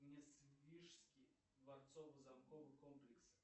несвижский дворцово замковый комплекс